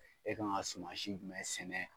E kan ka sumansi jumɛn sɛnɛ?